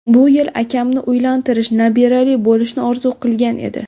Bu yil akamni uylantirish, nabirali bo‘lishni orzu qilgan edi.